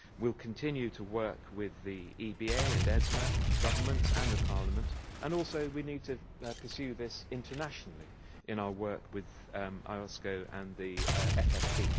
We will continue to work with the EBA and ESMA, governments and the European Parliament, and also we need to pursue this internationally, in our work with IOSCO and the FSB.